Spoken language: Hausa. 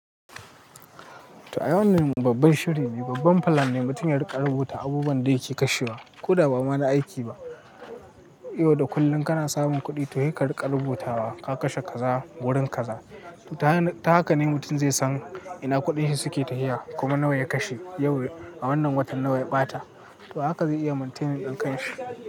To ai wannan babban shiri ne babban plan ne mutum ya riƙa rubuta abubuwan da yake kashewa. Koda ba ma na aiki ba. Yau da kullum kana samun kuɗi toh sai ka riƙa rubuta wa ka kashe kaza wurin kaza. Ta haka ne mutum zai san ina kuɗin shi suke tahiya kuma nawa ya kashe yau a wannan watan nawa ya ɓata. To haka zai iya maintaining ɗin kan shi.